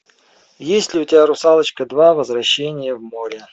есть ли у тебя русалочка два возвращение в море